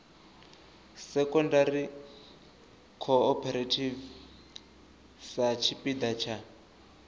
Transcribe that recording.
secondary cooperative sa tshipiḓa tsha